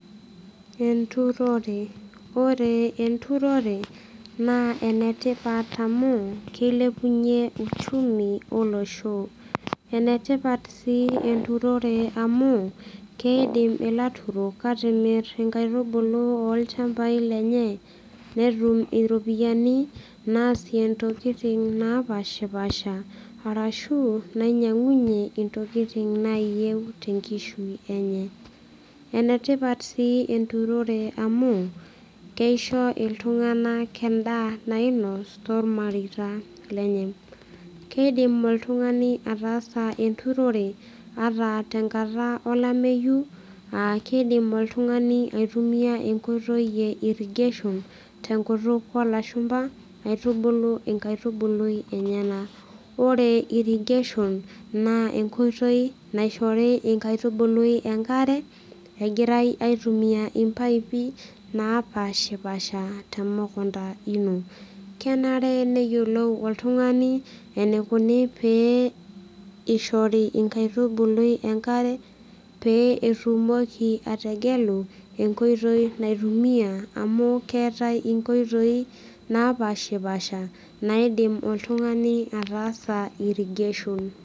Enturore ore enturore naa enetipat amu keilepunyie uchumi olosho enetipat sii enturore amu keidim ilaturok atimirr inkaitubulu olchambai lenye netum iropiyiani naasie intokiting napashipasha arashu nainyiang'unyie intokiting naayieu tenkishui enye enetipat sii enturore amu keisho iltung'anak endaa nainos tormareita lenye keidim oltung'ani ataasa enturore ata tenkata olameyu akeidim oltung'ani aitumia enkoitoi e irrigation tenkutuk olashumpa aitubulu enkaitubului enyenak ore irrigation naa enkoitoi naishori inkaitubului enkare egirae aitumia impaipi napashipasha temukunta ino kenare neyiolou oltung'ani enikuni pee ishori inkaitubului enkare pee eitumoki ategelu enkoitoi naitumia amu keetae inkoitoi napashipasha naidim oltung'ani ataasa irrigation.